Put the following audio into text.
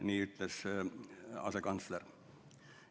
Nii ütles asekantsler.